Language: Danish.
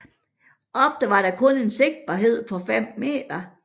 Ofte var der kun en sigtbarhed på 5 meter